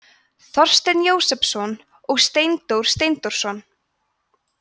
þorsteinn jósepsson og steindór steindórsson